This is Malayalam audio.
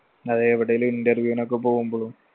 അതെ എവിടേലും interview നൊക്കെ പോവുമ്പളും